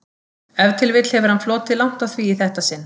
Ef til vill hefur hann flotið langt á því í þetta sinn.